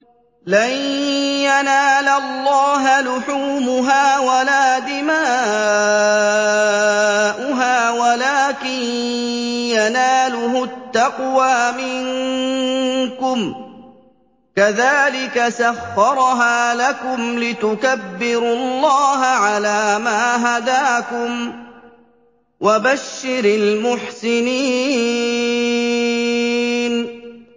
لَن يَنَالَ اللَّهَ لُحُومُهَا وَلَا دِمَاؤُهَا وَلَٰكِن يَنَالُهُ التَّقْوَىٰ مِنكُمْ ۚ كَذَٰلِكَ سَخَّرَهَا لَكُمْ لِتُكَبِّرُوا اللَّهَ عَلَىٰ مَا هَدَاكُمْ ۗ وَبَشِّرِ الْمُحْسِنِينَ